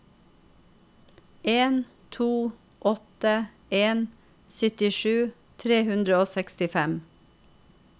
en to åtte en syttisju tre hundre og sekstifem